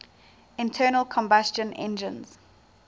internal combustion engines